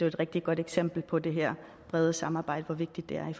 et rigtig godt eksempel på det her brede samarbejde